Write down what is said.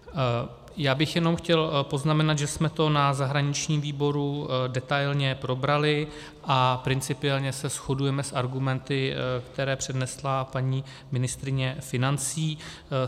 Já bych jenom chtěl poznamenat, že jsme to na zahraničním výboru detailně probrali a principiálně se shodujeme s argumenty, které přednesla paní ministryně financí.